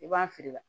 I b'a fili la